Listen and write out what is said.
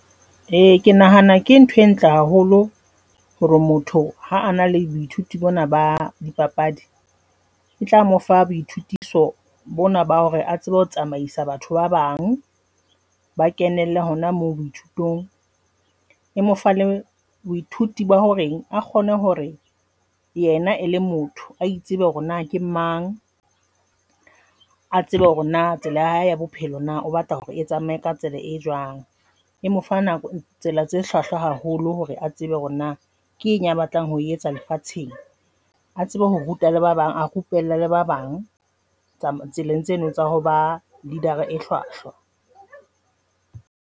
E, ke nahana ke nthwe ntle haholo hore motho ha a na le moithuti bona ba dipapadi e tla mo fa boithutiso bona ba hore a tsebe ho tsamaisa batho ba bang ba kenelle hona moo dithutong e mo baithuti ba horeng a kgone hore yena e le motho a itsebe hore na ke mang, a tsebe hore na tsela ya hae ya bophelo na o batla hore e tsamaye ka tsela e jwang. E mo fa nako tsela tse hlwahlwa haholo hore a tsebe hore na kenye a batlang ho etsa lefatsheng, a tsebe ho ruta le ba bang, a rupella le ba bang tseleng tseno tsa ho ba leader e hlwahlwa.